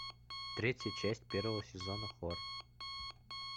третья часть первого сезона хор